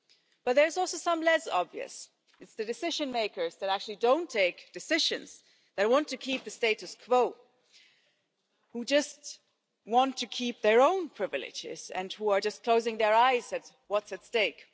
But there are also some less obvious the decision makers who actually don't take decisions and want to keep the status quo, who just want to keep their own privileges and who are just closing their eyes at what is at stake.